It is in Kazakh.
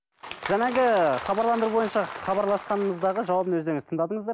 жаңағы хабарландыру бойынша хабарласқанымыздағы жауабын өздеріңіз тыңдадыңыздар